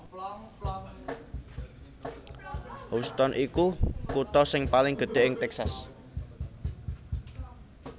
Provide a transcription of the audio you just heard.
Houston iku kutha sing paling gedhé ing Texas